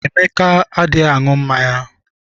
Emeka adịghị aṅụ mmanya.